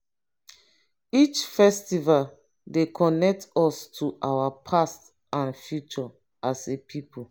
each festival dey connect us to our past and future as a pipo.